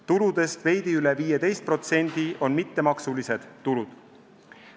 Tuludest veidi üle 15% on mittemaksulised tulud.